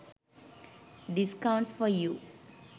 discounts for you